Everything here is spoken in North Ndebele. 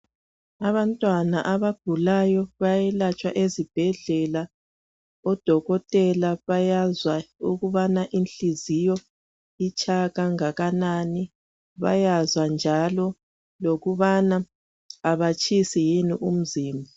Abantwana abagulayo bayelatshwa ezibhedlela. Odokotela bayazwa ukubana inhliziyo itshaya kangakanani. Bayazwa njalo ukubana abatshisi yini umzimba.